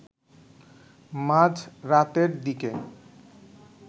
মাঝরাতের দিকে